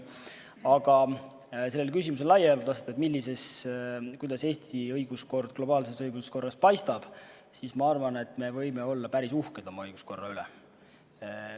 Aga sellele küsimusele laiemalt vastates, kuidas Eesti õiguskord globaalses õiguskorras paistab, siis ma arvan, et me võime olla päris uhked oma õiguskorra üle.